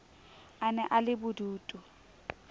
a ne a le bodutu